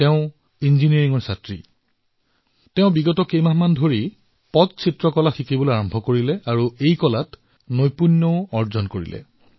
তেওঁ ইঞ্জিনীয়াৰিঙৰ ছাত্ৰী কিন্তু বিগত কিছু মাহৰ পৰা তেওঁ পট্টচিত্ৰ শিকিবলৈ আৰম্ভ কৰিছে আৰু ইয়াত নিপুণতাও লাভ কৰিছে